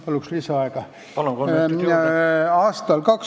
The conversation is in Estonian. Palun lisaaega!